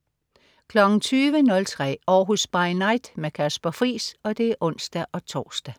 20.03 Århus By Night. Kasper Friis (ons-tors)